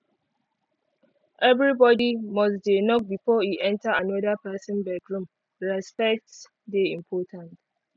everybody must dey knock before e enter anoda pesin bedroom respect dey important